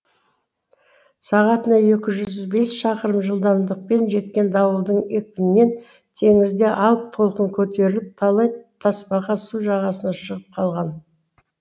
сағатына екі жүз бес шақырым жылдамдықпен жеткен дауылдың екпінінен теңізде алып толқын көтеріліп талай тасбақа су жағасына шығып қалған